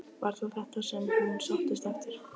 Var það þetta sem hún sóttist eftir?